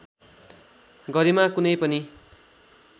गरिमा कुनै पनि